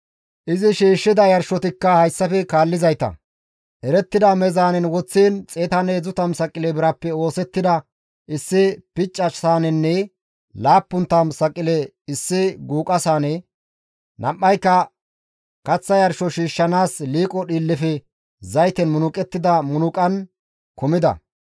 Izi shiishshida yarshotikka hayssafe kaallizayta, erettida meezaanen woththiin 130 saqile birappe oosettida issi picca saanenne 70 saqile issi guuqa saane, nam7ayka kaththa yarsho shiishshanaas liiqo dhiillefe zayten munuqettida munuqan kumida.